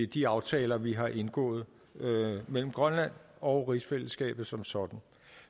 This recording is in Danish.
de aftaler vi har indgået mellem grønland og rigsfællesskabet som sådan